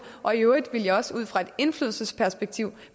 og i øvrigt vil jeg også ud fra et indflydelsesperspektiv